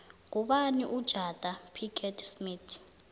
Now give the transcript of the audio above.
ngubani ujada pickett smith